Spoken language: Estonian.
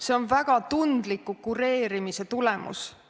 See on väga tundliku kureerimise tulemus.